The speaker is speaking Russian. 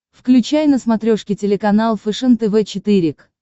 включай на смотрешке телеканал фэшен тв четыре к